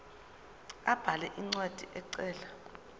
abhale incwadi ecela